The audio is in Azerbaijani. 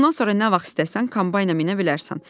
Bundan sonra nə vaxt istəsən kombayna minə bilərsən.